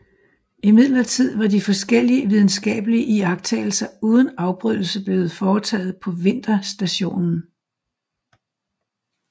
Imidlertid var de forskellige videnskabelige iagttagelser uden afbrydelse blevet foretaget på vinterstationen